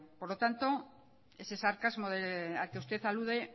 por lo tanto ese sarcasmo al que usted alude